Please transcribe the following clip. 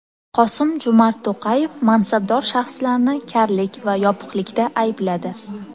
Qosim-Jo‘mart To‘qayev mansabdor shaxslarni karlik va yopiqlikda aybladi.